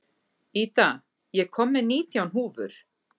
Ida, ég kom með nítján húfur!